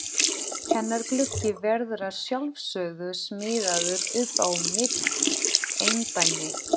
Hennar gluggi verður að sjálfsögðu smíðaður upp á mitt eindæmi.